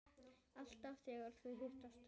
Alltaf þegar þau hittast